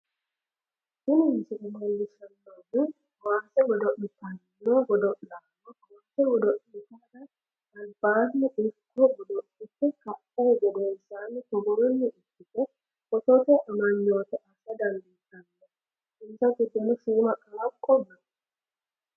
tini misile leellishshannohu kowaase godo'litanno godo'lanno kowaase godo'litara albaanni ikko godo'lite ka'uhu gedensaanni togoonni ikkite footote amanyoote assa dandiitanno. insa giddono shiima qaaqo no.